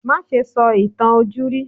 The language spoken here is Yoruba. Má ṣe sọ ìtàn ojúrí!